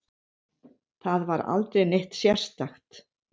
Það var aldrei neitt sérstakt.